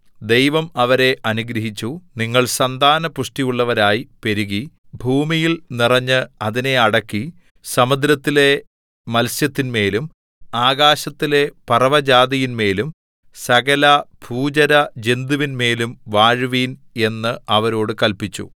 ദൈവം അവരെ അനുഗ്രഹിച്ചു നിങ്ങൾ സന്താന പുഷ്ടിയുള്ളവരായി പെരുകി ഭൂമിയിൽ നിറഞ്ഞു അതിനെ അടക്കി സമുദ്രത്തിലെ മത്സ്യത്തിന്മേലും ആകാശത്തിലെ പറവജാതിയിന്മേലും സകലഭൂചരജന്തുവിന്മേലും വാഴുവിൻ എന്നു അവരോടു കല്പിച്ചു